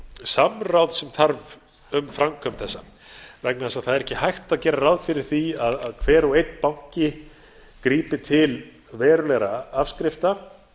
samráð sem þarf um framkvæmd þessa vegna þess að það er ekki hægt að gera ráð fyrir því að hver og einn banki grípi til verulegra afskrifta